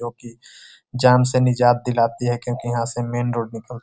क्योंकि जान से निजात दिलाती है क्योंकि यहाँ से मैन रोड निकल --